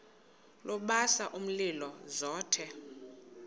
lubasa umlilo zothe